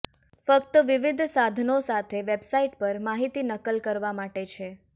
ફક્ત વિવિધ સાધનો સાથે વેબસાઇટ પર માહિતી નકલ કરવા માટે છે